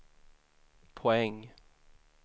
poäng